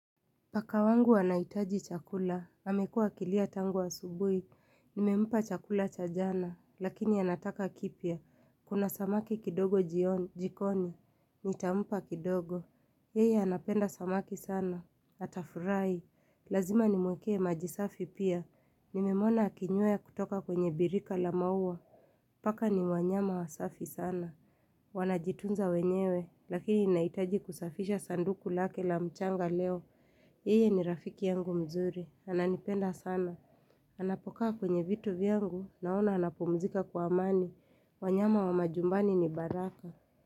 Paka wangu wanahitaji chakula. Amekuwa akilia tangu asubuhi, nimempa chakula cha jana, lakini anataka kipya. Kuna samaki kidogo jikoni, nitampa kidogo. Yeye anapenda samaki sana, atafurahi, lazima nimwekww maji safi pia. Nimemwona akinywea kutoka kwenye birika la maua, paka ni wanyama wasafi sana, wanajitunza wenyewe, lakini nahitaji kusafisha sanduku lake la mchanga leo, Yeye ni rafiki yangu mzuri, ananipenda sana. Anapokaa kwenye vitu vyangu, naona anapomzika kwa amani. Wanyama wa majumbani ni baraka.